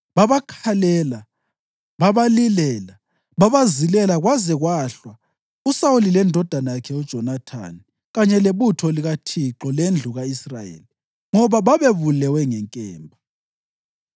Babakhalela, babalilela, babazilela kwaze kwahlwa uSawuli lendodana yakhe uJonathani kanye lebutho likaThixo lendlu ka-Israyeli, ngoba babebulewe ngenkemba.